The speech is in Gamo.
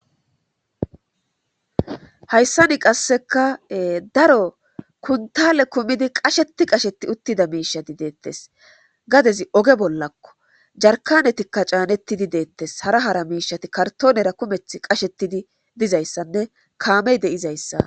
hayssani qasseka daro kuntale kumidi qasheti qasheti uttida miishati deettes gadezi oge bollakko jarkanetikka caanettidi deettes hara hara miishati kartonera kumeth qashetidi dizayssanne kaamey deizayssa